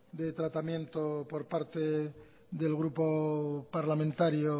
de tratamiento por parte del grupo parlamentario